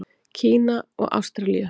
Kína og Ástralíu.